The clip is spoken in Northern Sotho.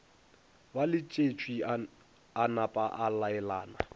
ba letšwetše a napaa laelana